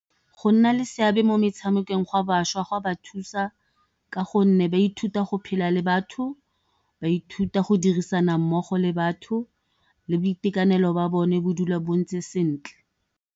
Go nna le seabe mo metshamekong gwa bašwa go a ba thusa ka gonne ba ithuta go phela le batho, ba ithuta go dirisana mmogo le batho le boitekanelo jwa bone bo dula bo ntse sentle.